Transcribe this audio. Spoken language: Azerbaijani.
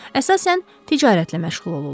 Əsasən ticarətlə məşğul olurlar.